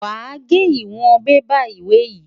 Wàá gé ìwọ̀n bébà ìwé yìí.